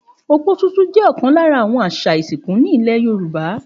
Òpó ṣúṣú jẹ́ ọ̀kan lára àwọn àṣà ìsìnkú nílẹ̀ Yorùbá